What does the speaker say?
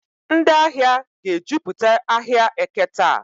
Ndị ahịa ga-ejupụta ahịa Eke taa.